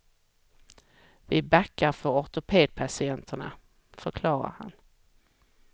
Vi backar för ortopedpatienterna, förklarar han.